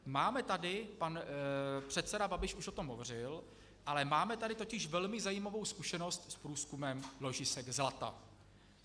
Máme tady, pan předseda Babiš už o tom hovořil, ale máme tady totiž velmi zajímavou zkušenost s průzkumem ložisek zlata.